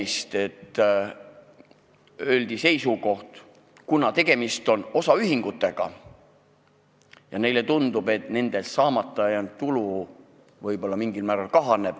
Siit kõnepuldist öeldi välja seisukoht, et kuna tegemist on osaühingutega, siis nende arvates jääb neil mingil määral tulu saamata.